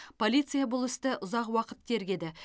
полиция бұл істі ұзақ уақыт тергеді